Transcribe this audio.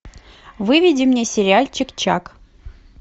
выведи мне сериальчик чак